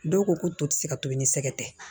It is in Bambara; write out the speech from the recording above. Dɔw ko ko to ti se ka tobi ni sɛgɛ tɛ